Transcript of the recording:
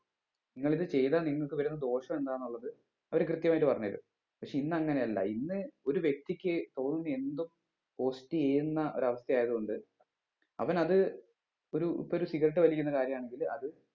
നിങ്ങളിത് ചെയ്താൽ നിങ്ങക്ക് വരുന്ന ദോഷം എന്താന്നുള്ളത് അവര് കൃത്യമായിട്ട് പറഞ്ഞ് തരും പക്ഷെ ഇന്നങ്ങനെ അല്ല ഇന്ന് ഒരു വ്യക്തിക്ക് തോന്നുന്ന എന്തും post ചെയ്യുന്ന ഒരു അവസ്ഥ ആയത് കൊണ്ട് അവന് അത് ഒരു ഇപ്പം ഒരു cigarette വലിക്കുന്ന കാര്യാണെങ്കിൽ അത്